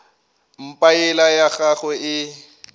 mpa yela ya gagwe e